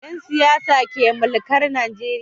Yansiyasa ke mulkar Nigeria